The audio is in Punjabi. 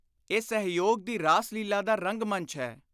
ਇਹ ਸਹਿਯੋਗ ਦੀ ਰਾਸ ਲੀਲ੍ਹਾ ਦਾ ਰੰਗ-ਮੰਚ ਹੈ।